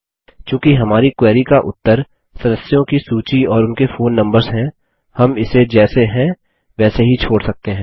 चूँकि हमारी क्वेरी का उत्तर सदस्यों की सूची और उनके फोन नम्बर्स हैं हम इसे जैसे हैं वैसे ही छोड़ सकते हैं